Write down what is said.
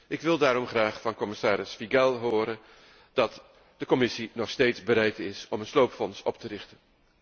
Ik wil daarom graag van commissaris Figel' horen dat de Commissie nog steeds bereid is om een sloopfonds op te richten.